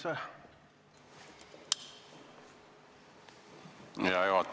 Hea juhataja!